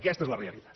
aquesta és la realitat